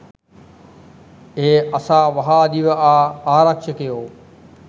එය අසා වහා දිව ආ ආරක්‍ෂකයෝ